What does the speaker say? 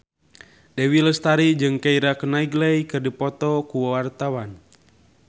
Dewi Lestari jeung Keira Knightley keur dipoto ku wartawan